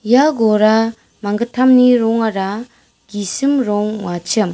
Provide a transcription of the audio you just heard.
ia gora manggittamni rongara gisim rong ong·achim.